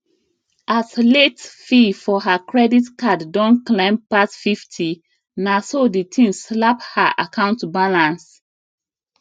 as late fee for her credit card don climb pass 50 na so the thing slap her account balance